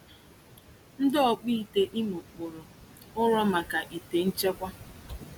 Ndi ọkpụite Imo kpụrụ ụrọ maka ite nchekwa.